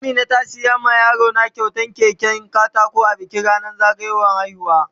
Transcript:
Amina ta siya ma yaro na kyautan keken katako a bikin ranan zagayan haihuwa.